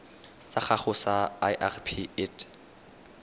sa gago sa irp it